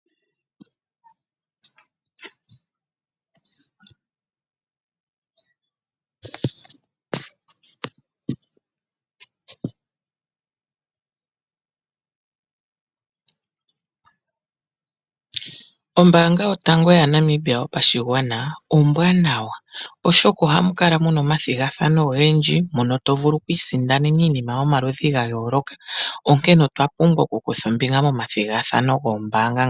Ombanga yotango yaNamibia yopashigwana ombwanawa, oshoka ohamu kala mu na omathigathano ogendji moka to vulu okwiisindanena iinima yomaludhi ga yoloka, onkene otwa pumbwa okukutha ombinga momathigathano goombanga.